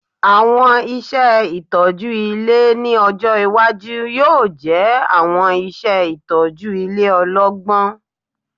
Awọn iṣẹ itọju ile ni ọjọ iwaju yoo jẹ awọn iṣẹ itọju ile ọlọgbọn